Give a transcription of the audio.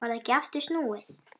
Varð ekki aftur snúið.